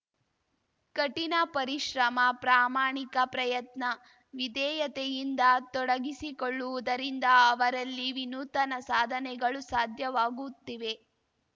ಕಠಿಣ ಪರಿಶ್ರಮ ಪ್ರಾಮಾಣಿಕ ಪ್ರಯತ್ನ ವಿಧೇಯತೆಯಿಂದ ತೊಡಗಿಸಿಕೊಳ್ಳುವುದರಿಂದ ಅವರಲ್ಲಿ ವಿನೂತನ ಸಾಧನೆಗಳು ಸಾಧ್ಯವಾಗುತ್ತಿವೆ